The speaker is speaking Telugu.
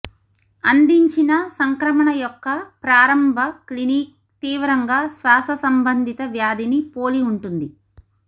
అందించిన సంక్రమణ యొక్క ప్రారంభ క్లినిక్ తీవ్రంగా శ్వాస సంబంధిత వ్యాధిని పోలి ఉంటుంది